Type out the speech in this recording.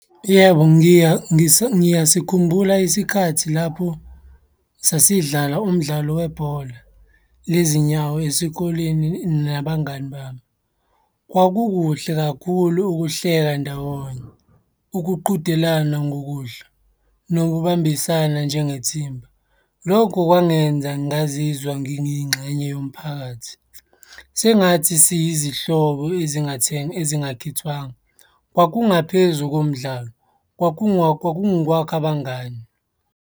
Yebo, ngiyasikhumbula isikhathi lapho sasidlala umdlalo webhola lezinyawo esikoleni nabangani bami. Kwakukuhle kakhulu ukuhleka ndawonye, ukuqhudelana ngokudla, nokubambisana njengethimba. Lokho kwangenza ngazizwa ngingingxenye yomphakathi. Sengathi siyizihlobo ezingatheni ezingakhethwanga. Kwakungaphezu komdlalo, kwakungokwakha abangani.